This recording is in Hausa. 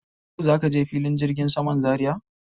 Yau za ka je filin jirgin saman Zaria?